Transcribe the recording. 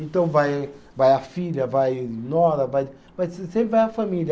Então vai, vai a filha, vai nora, vai, vai sempre vai a família.